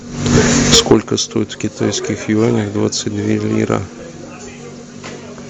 сколько стоит в китайских юанях двадцать две лира